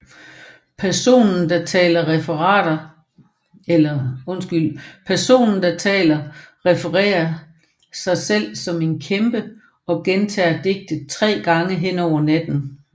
Personen der taler refererer sig selv som en kæmpe og gentager digtet tre gange henover natten